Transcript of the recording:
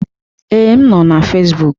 Ee, m nọ na Fezbụk.